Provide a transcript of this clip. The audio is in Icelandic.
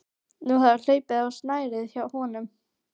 Nú hafði hlaupið á snærið hjá honum.